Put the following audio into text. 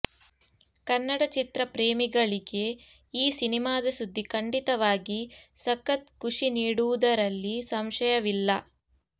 ಕನ್ನಡ ಚಿತ್ರ ಪ್ರೇಮಿಗಳಿಗೆ ಈ ಸಿನಿಮಾದ ಸುದ್ದಿ ಖಂಡಿತವಾಗಿ ಸಖತ್ ಖುಷಿ ನೀಡುವುದರಲ್ಲಿ ಸಂಶಯವಿಲ್ಲ